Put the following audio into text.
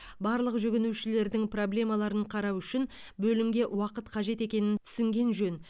барлық жүгінушілердің проблемаларын қарау үшін бөлімге уақыт қажет екенін түсінген жөн